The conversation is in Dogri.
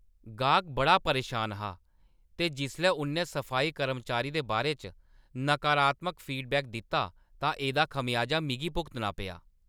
गाह्‌क बड़ा परेशान हा ते जिसलै उʼन्नै सफाई कर्मचारी दे बारे च नकारात्मक फीडबैक दित्ता तां एह्‌दा खमेआजा मिगी भुगतना पेआ।